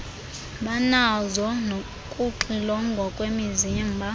banazo nokuxilongwa kwemizimba